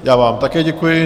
Já vám také děkuji.